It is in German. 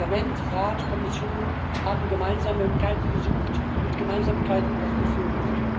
Parlament, Rat und Kommission haben Gemeinsamkeiten gesucht und Gemeinsamkeiten auch gefunden.